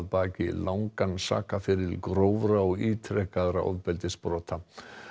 baki langan sakaferil grófra og ítrekaðra ofbeldisbrota